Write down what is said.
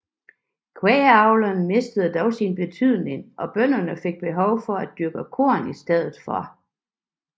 Kvægavlen mistede dog sin betydning og bønderne fik behov for at dyrke korn i stedet